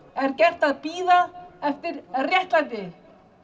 er gert að bíða eftir réttlæti